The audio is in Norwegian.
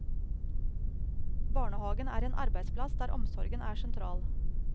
Barnehagen er en arbeidsplass der omsorgen er sentral.